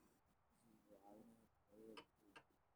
Aqoonsigu wuxuu caawiyaa badbaadada bulshada.